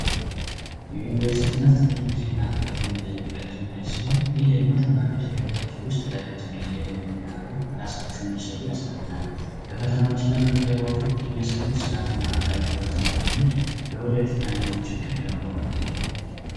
የዩኒቨርሲቲ ትምህርት ብዙ ጊዜና ተማሪዎች በይወታቸው ውስጥ ለረጅም ጊዜ በፈተናዎችና በምደባቸው የሚያሳዩትና ጠንካራ ልምድ ወደፊት ማንኛዉንም ችግር ለመቋቋም ያስችላል።